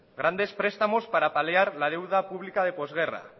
grandes prestamos para paliar la deuda pública de postguerra